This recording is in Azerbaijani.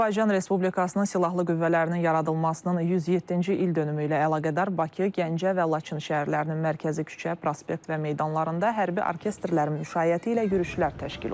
Azərbaycan Respublikasının Silahlı Qüvvələrinin yaradılmasının 107-ci ildönümü ilə əlaqədar Bakı, Gəncə və Laçın şəhərlərinin mərkəzi küçə, prospekt və meydanlarında hərbi orkestrlərin müşayiəti ilə yürüşlər təşkil olunub.